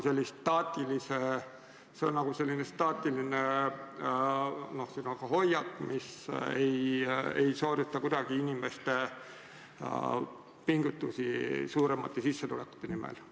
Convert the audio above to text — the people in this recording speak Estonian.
See on nagu staatiline hoiak, mis ei soodusta kuidagi inimeste pingutusi suuremate sissetulekute nimel.